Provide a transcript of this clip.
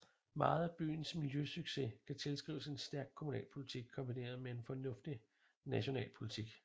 Meget af byens miljøsucces kan tilskrives en stærk kommunalpolitik kombineret med en fornuftig national politik